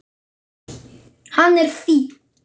Hann er fínn.